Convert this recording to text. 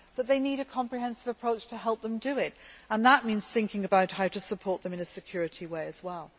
They need a comprehensive approach to help them do this and that means thinking about how to support them in a security way as well.